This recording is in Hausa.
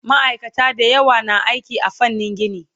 Maaikata da yawa na aiki a fannin gini